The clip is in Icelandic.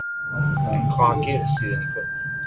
En hvað gerist síðan í kvöld?